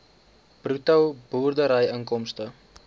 bruto boerderyinkomste